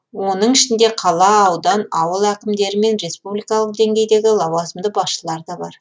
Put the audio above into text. оның ішінде қала аудан ауыл әкімдері мен республикалық деңгейдегі лауазымды басшылар да бар